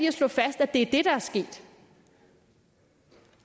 at slå fast at det er det der er sket